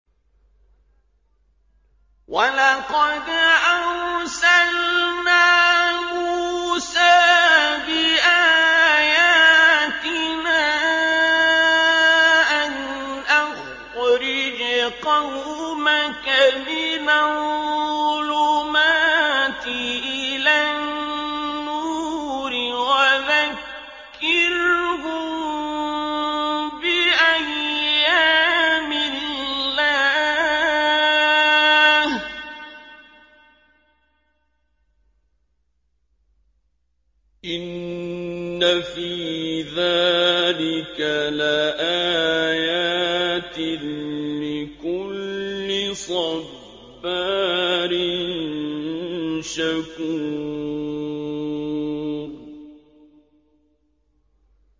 وَلَقَدْ أَرْسَلْنَا مُوسَىٰ بِآيَاتِنَا أَنْ أَخْرِجْ قَوْمَكَ مِنَ الظُّلُمَاتِ إِلَى النُّورِ وَذَكِّرْهُم بِأَيَّامِ اللَّهِ ۚ إِنَّ فِي ذَٰلِكَ لَآيَاتٍ لِّكُلِّ صَبَّارٍ شَكُورٍ